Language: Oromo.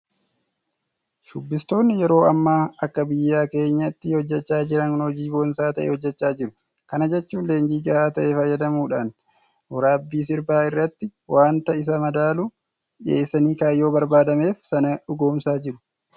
Shubbistoonni yeroo ammaa akka biyya keenyaatti hojjechaa jiran hojii boonsaa ta'e hojjechaa jiru. Kana jechuun leenjii gahaa ta'e fayyadamuudhaan waraabbii sirbaa irratti waanta isa madaalu dhiyeessanii kaayyoo barbaadameef sana dhugoomsaa jiru.